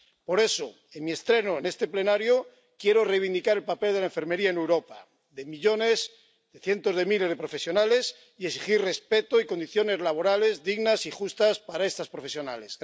Por eso, en mi estreno en este Pleno, quiero reivindicar el papel de la enfermería en Europa, de millones, de cientos de miles de profesionales, y exigir respeto y condiciones laborales dignas y justas para estas profesionales.